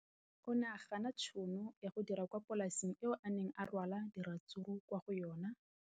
O ne a gana tšhono ya go dira kwa polaseng eo a neng rwala diratsuru kwa go yona go di rekisa.